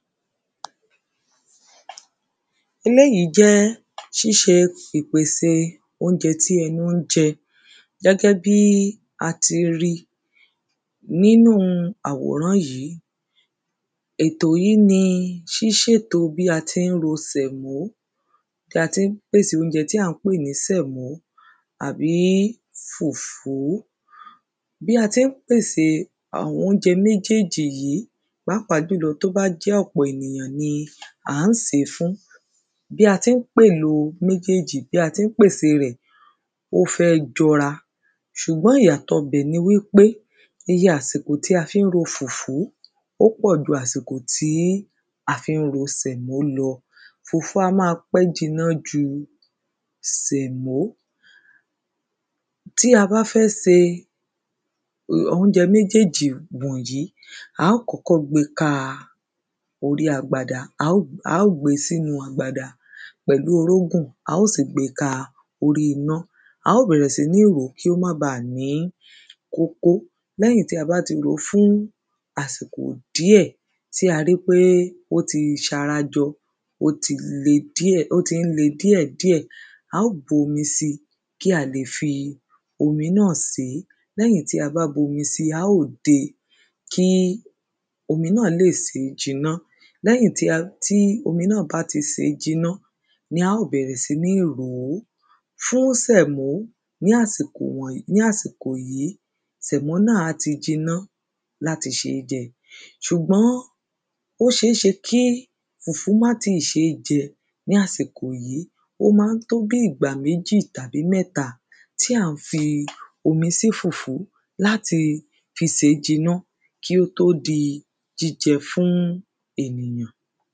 eléyìí jẹ́ ṣíṣe ìpèse oúnjẹ tí ẹnu ń jẹ gẹ́gẹ́ bí a ti ri nínúu àwòrán yìí. ètò yí ni ṣíṣèto bí a ti ń ro sẹ̀mó, bí a ti ń pèse oúnjẹ tí à ń pè ní sẹ̀mó, àbí fùfú. bí a tí ń pèse àwọn oúnjẹ méjèjì yí pàápàá jùlọ tó bá jẹ́ ọ̀pọ̀ ènìyàn ni à ń sè é fún, bí a ti ń pèèlò méjèèjì, bí a ti ń pèsè rẹ̀, ó fẹ́ jọra, ṣùgbọ́n ìyàtọ bẹ̀ ni wí pé, iye àsìkò tí a fi ń ro fùfú, ó pọ̀ ju àsìkò tí a fi ń ro sẹ̀mó lọ, fùfú a máa pẹ́ jinná ju sẹ̀mó. tí a bá fẹ́ se oúnjẹ méjèjì wọ̀n yí, a ó kọ́kọ́ gbe ka orí agbada, a ó, a ó gbe sínu agbada pẹ̀lú orógùn, a ó sì gbé e ka orí iná, a ó bẹ̀rẹ̀ sí ní rò o kí ó má baà ní kókó, lẹ́yìn tí a bá ti rò ó fún àsìkò díẹ̀ tí a ri pé ó ti ṣarajọ, ó ti le díẹ̀, ó ti ń le díẹ̀ díẹ̀, a ó bu omi si kí a lè fi omi náà sè é. lẹ́yìn tí a bá bu omi si, a ó dé e kí omi náà lè sè é jiná, lẹ́yìn tí a, tí omi náà bá ti sè é jiná ni a ó bẹ̀rẹ̀ sí ní rò ó. fún sẹ̀mó ní àsìkò wọ̀n, ní àsìkò yìí, sẹ̀mó náà á ti jiná láti ṣeé jẹ, ṣùgbọ́n ó ṣeéṣe kí fùfú má tíì ṣe é jẹ ní àsìkò yí, ó máa ń tó bí ìgbà méjì tàbí mẹ́ta tí à ń fi omi sí fùfú láti fi sè é jiná, kí ó tó di jíjẹ fún ènìyàn.